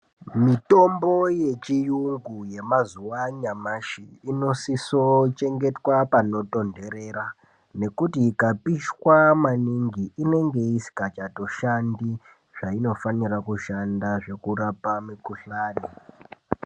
Mitombo yechiyungu yemazuva anyamashi inosiso kuchengetwa panotondorera ngekuti ikatopishwa maningi inenge isikachatoshandi zvainofanira kushanda zvekurapa mukuhlani.